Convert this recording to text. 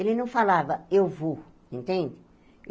Ele não falava, eu vou, entende?